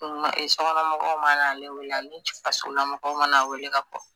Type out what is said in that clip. Mɛ sɔgɔnɔmɔgɔw mana ale wele ani cɛ fasola mɔgɔw mana ale wele ka kɔn